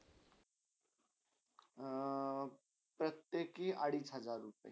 अ प्रत्येकी अरिच हजार रुपे.